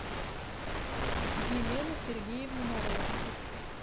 елену сергеевну морозову